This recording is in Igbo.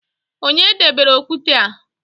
Onye debere okwute a?